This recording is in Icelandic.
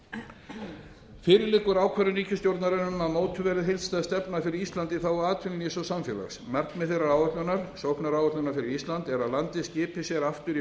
landsbyggðinni fyrir liggur ákvörðun ríkisstjórnarinnar um að mótuð verði heildstæð stefna fyrir ísland í þágu atvinnulífs og samfélags markmið þeirrar áætlunar sóknaráætlunar fyrir ísland er að landið skipi sér aftur í